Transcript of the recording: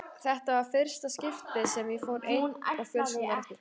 Þetta var í fyrsta skiptið sem ég fór einn og fjölskyldan var eftir.